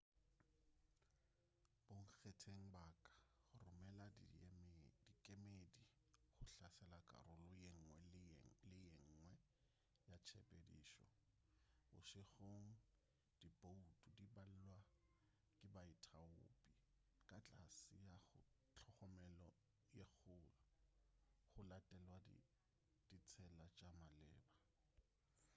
bonkgetheng ba ka romela dikemedi go hlatsela karolo yenngwe le yenngwe ya tshepedišo bošegong diboutu di balwa ke baithaopi ka tlase ga tlhokomelo ye kgolo go latelwa ditsela tša maleba